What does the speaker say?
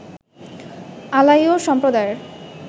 আলাইও সম্প্রদায়ের